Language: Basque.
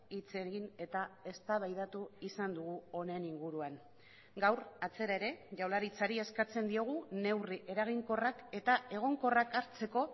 hitz egin eta eztabaidatu izan dugu honen inguruan gaur atzera ere jaurlaritzari eskatzen diogu neurri eraginkorrak eta egonkorrak hartzeko